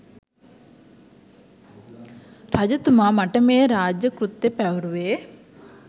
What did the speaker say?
රජතුමා මට මේ රාජ කෘත්‍ය පැවරුවේ